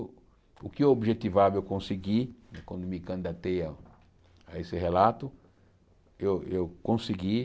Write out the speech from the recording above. O que eu objetivava eu consegui, quando me candidatei a a esse relato, eu eu consegui.